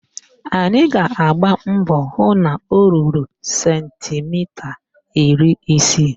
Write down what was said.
Anyị ga-agba mbọ hụ na o ruru sentimita iri isii